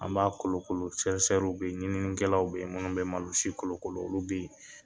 An b'a kolokolo be yen, ɲininikɛlaw be yen munnu be malosi kolokolo olu be yen.